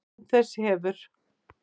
Án þess hefur